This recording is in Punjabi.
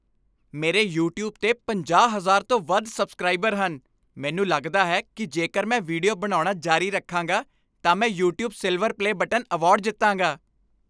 ਮੇਰੇ ਯੂਟਿਊਬ 'ਤੇ ਪੰਜਾਹ, ਹਜ਼ਾਰ ਤੋਂ ਵੱਧ ਸਬਸਕ੍ਰਾਈਬਰ ਹਨ ਮੈਨੂੰ ਲੱਗਦਾ ਹੈ ਕੀ ਜੇਕਰ ਮੈਂ ਵੀਡੀਓ ਬਣਾਉਣਾ ਜਾਰੀ ਰੱਖਾਂਗਾ, ਤਾਂ ਮੈਂ "YouTube silver play button" award ਜਿੱਤਾਂਗਾ